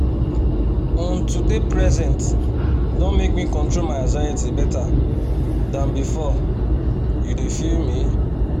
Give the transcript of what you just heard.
um to dey present don make me control my anxiety better than before u dey feel me?